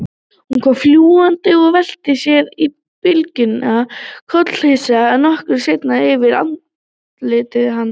Hún kom fljúgandi og velti sér í blygðunarlausum kollhnís nokkra sentimetra yfir andliti hans.